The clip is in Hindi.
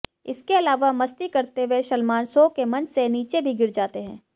इसके अलावा मस्ती करते हुए सलमान शो के मंच से नीचे भी गिर जाते हैं